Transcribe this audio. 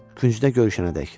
Küncdə görüşənədək.